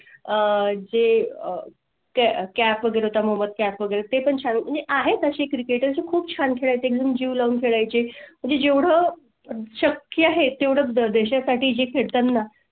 अह जे आह कैफ वगैरे तर मग मोहम्मद कैफ वगैरे ते पण तुम्ही आहेत अशी Cricket ची खूप छान खेळत एकदम जीव लग करायची म्हणजे जेवढं शक्य आहे तेवढा देशा साठी खेळताना